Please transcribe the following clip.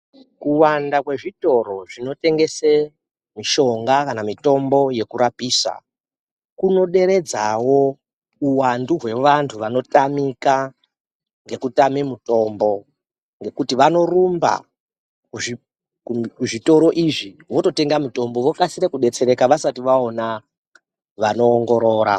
Kuwanda kwezvitiri zvinitengese mishonga kana mitombo yekurapisa, kunoderedzawo uwandu hwevantu vanotamika ngekutame mutombo ngekuti vanorumba kuzvitoro izvi vototenga mutombo vokasira kudetsereka vasati vaona vanoongorora.